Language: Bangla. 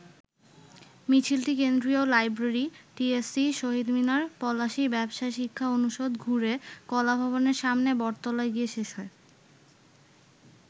মিছিলটি কেন্দ্রীয় লাইব্রেরি, টিএসসি, শহীদ মিনার, পলাশী, ব্যবসায় শিক্ষা অনুষদ ঘুরে কলা ভবনের সামনে বটতলায় গিয়ে শেষ হয়।